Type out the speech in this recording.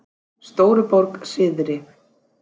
Stóruborg syðri